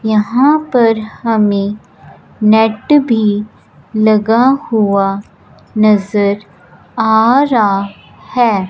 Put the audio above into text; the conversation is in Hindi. यहां पर हमें नेट भी लगा हुआ नजर आ रहा है।